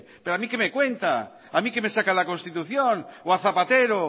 pero a mí qué me cuenta a mí qué me saca la constitución o a zapatero